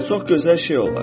Və çox gözəl şey olar.